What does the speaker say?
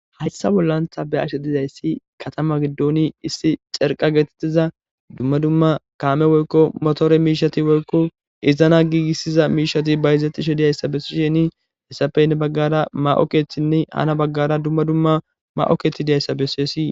Hayssa bollan ta beashe dizaysi katama gidon issi carqqe getetiza dumma dumma kaame woykko motore mishshati woykko iza gigisiza mishshati bazetiza besishin hessappe heni bagara ma7o keththinne hani baggara dumma dumma ma7o keththati duzayssa beses.